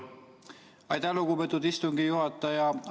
Aitäh, lugupeetud istungi juhataja!